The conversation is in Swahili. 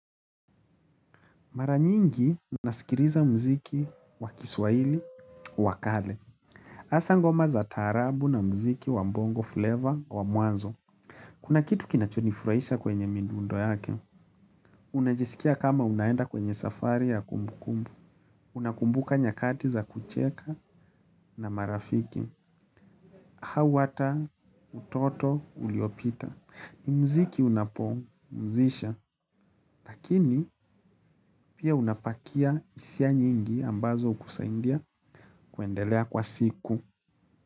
Mara nyingi nasikiliza muziki wa kiswaili wa kale. Hasa ngoma za taarabu na muziki wa bongo flavor wa muanzo. Kuna kitu kinachonifurahisha kwenye midundo yake. Unajisikia kama unaenda kwenye safari ya kumbukumbu. Unakumbuka nyakati za kucheka na marafiki. Au hata utoto uliopita. Muziki unapumzisha, lakini pia unapakia hisia nyingi ambazo hukusaidia kuendelea kwa siku.